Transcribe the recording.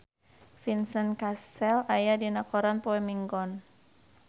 Vincent Cassel aya dina koran poe Minggon